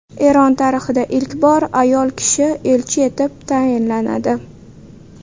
Eron tarixida ilk bor ayol kishi elchi etib tayinlanadi.